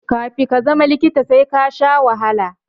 Kafi ka zama likita sai kasha wahala